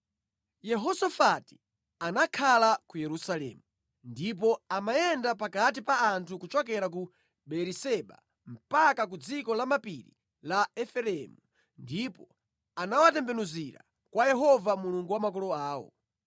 Yehosafati anakakhala ku Yerusalemu, ndipo amayenda pakati pa anthu kuchokera ku Beeriseba mpaka ku dziko lamapiri la Efereimu ndipo anawatembenuzira kwa Yehova, Mulungu wa makolo awo.